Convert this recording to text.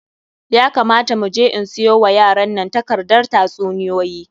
Ya kamata mu je in siyo wa yaran nan takardar tatsuniyoyi.